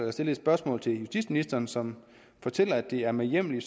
at stille et spørgsmål til justitsministeren som fortalte at det er med hjemmel i